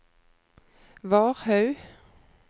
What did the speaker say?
Varhaug